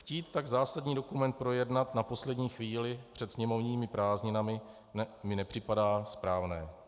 Chtít tak zásadní dokument projednat na poslední chvíli před sněmovními prázdninami mi nepřipadá správné.